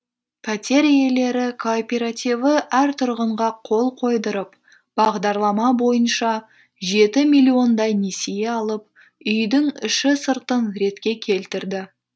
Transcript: пәтер иелері кооперативі әр тұрғынға қол қойдырып бағдарлама бойынша жеті миллиондай несие алып үйдің іші сыртын ретке келтірді